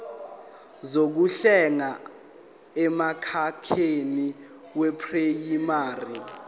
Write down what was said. zokuhlenga emkhakheni weprayimari